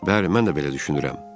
Bəli, mən də belə düşünürəm.